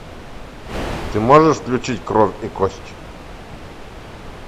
ты можешь включить кровь и кость